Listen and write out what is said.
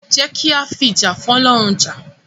Jẹ́ ki a fìjà f'ọ́lọ́run jà.